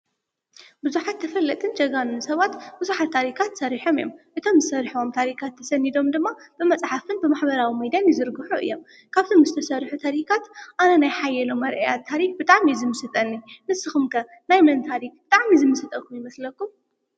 ቡዙሓት ተፈለጥትን ጀጋኑን ሰባት ብዙሓት ታሪካት ሰሪሖም እዮም። እዞም ዝሰርሕዎም ታሪካት ተሰኒዶም ድማ ብመፅሓፍን ብማሕበራዊ ሚድያን ይዝርግሑ እዮም። ካብዞም ዝተሰርሑ ታሪካት ኣነ ናይ ሓየሎምኣርኣያ ታሪክ ብጣዕሚ እዩ ዝምስጠኒ። ንስኩም ከ ናይ መን ታሪክ ብጣዕሚ ይምስጠኩም?